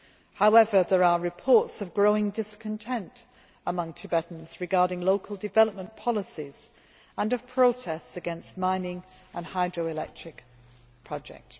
However, there are reports of growing discontent among Tibetans regarding local development policies, and of protests against mining and hydro electric projects.